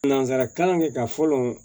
Nanzara kalan kɛ ka fɔlɔ